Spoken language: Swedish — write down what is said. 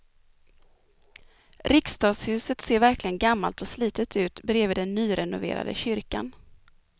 Riksdagshuset ser verkligen gammalt och slitet ut bredvid den nyrenoverade kyrkan.